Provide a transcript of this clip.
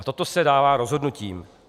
A toto se dává rozhodnutím.